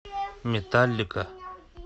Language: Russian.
металлика